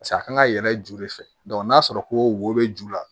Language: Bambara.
pase a kan ka yɛlɛ je de fɛ dɔnku n'a sɔrɔ ko wo bɛ ju la